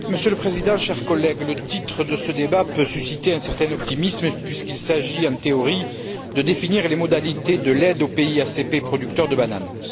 Monsieur le Président, chers collègues, le titre de ce débat peut susciter un certain optimisme puisqu'il s'agit, en théorie, de définir les modalités de l'aide aux pays ACP producteurs de bananes.